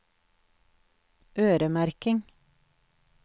øremerking